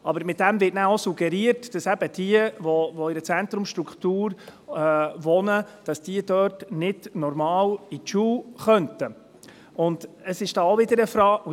Damit wird aber auch suggeriert, dass jene, die in einer Zentrumsstruktur wohnen, dort nicht normal zur Schule gehen können.